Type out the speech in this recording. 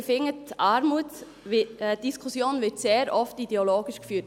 Ich finde, die Diskussion wird sehr oft ideologisch geführt.